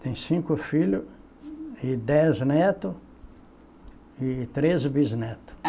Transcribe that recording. Tenho cinco filhos e dez netos e treze bisnetos.